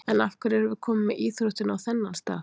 En af hverju erum við komin með íþróttina á þennan stað??